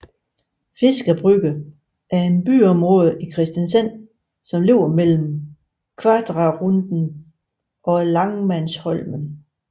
Fiskebrygga er et byområde i Kristiansand som ligger mellem Kvadraturen og Lagmannsholmen